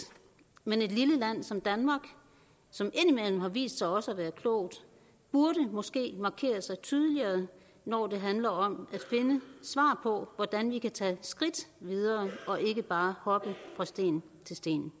men et lille land som danmark som indimellem har vist sig også at være klogt burde måske markere sig tydeligere når det handler om at finde svar på hvordan vi kan tage skridt videre og ikke bare hoppe fra sten til sten